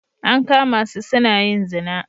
An kama su suna yin zina